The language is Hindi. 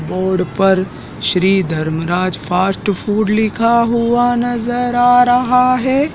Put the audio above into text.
बोर्ड पर श्री धर्म राज फास्ट फूड लिखा हुआ नजर आ रहा है।